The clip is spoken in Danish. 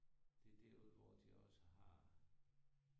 Det derude hvor de også har